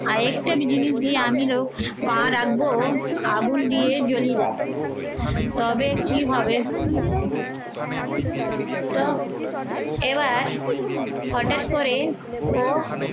আর একটা জিনিস দিয়ে আমি লোক পা রাখবো আগুন দিয়ে জ্বলিয়ে দাও তবে কি হবে তো এবার হঠাৎ করে ও